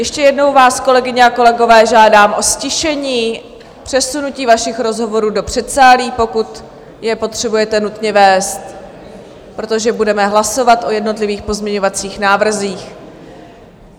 Ještě jednou vás, kolegyně a kolegové, žádám o ztišení, přesunutí vašich rozhovorů do předsálí, pokud je potřebujete nutně vést, protože budeme hlasovat o jednotlivých pozměňovacích návrzích.